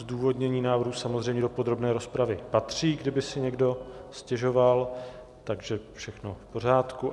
Zdůvodnění návrhu samozřejmě do podrobné rozpravy patří, kdyby si někdo stěžoval, takže všechno v pořádku.